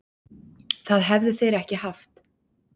Það hefðu þeir ekki haft